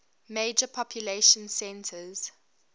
major population centers